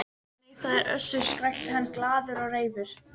Nei, það er Össur, skrækti hann glaður og reifur.